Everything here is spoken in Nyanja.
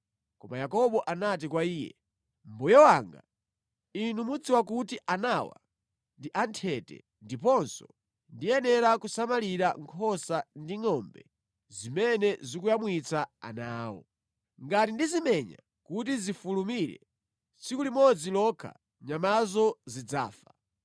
Koma Yakobo anati kwa iye, “Mbuye wanga, inu mudziwa kuti anawa ndi a nthete ndiponso ndiyenera kusamalira nkhosa ndi ngʼombe zimene zikuyamwitsa ana awo. Ngati ndizimenya kuti zifulumire, tsiku limodzi lokha nyamazo zidzafa.